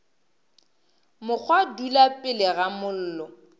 mokgwa dula pele ga mollo